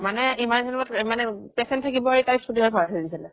মানে ইমান দিনৰ মূৰত এ মানে patient থাকিব এৰি তাই চুলাই ভৰাই থৈছিলে ।